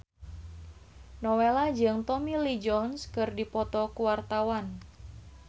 Nowela jeung Tommy Lee Jones keur dipoto ku wartawan